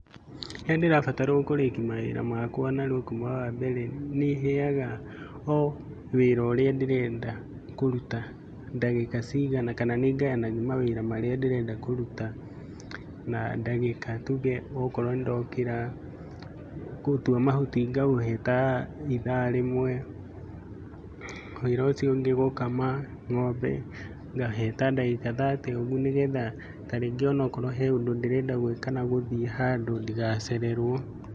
Rĩrĩa ndĩrabatarwo kũrĩki mawĩra makwa narua kuuma wa mbere, nĩ heaga o wĩra ũrĩa ndĩrenda kũruta ndagĩka ciigana kana nĩ ngayanagia mawĩra marĩa ndĩrenda kũruta na ndagĩka. Tuge okorwo nĩ ndokĩra gũtua mahuti ngaũhe ta ithaa rĩmwe, wĩra ũcio ũngĩ gũkama ng'ombe, ngaũhe ta ndagĩka thate ũguo, nĩgetha tarĩngĩ onakorwo he ũndũ ndĩrenda gwĩka kana gũthiĩ handũ ndigacererwo.